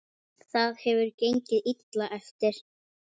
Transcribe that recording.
Það hefur gengið illa eftir.